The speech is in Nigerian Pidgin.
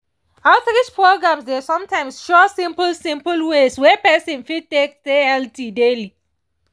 outreach programs dey sometimes show simple simple ways wey person fit take stay healthy daily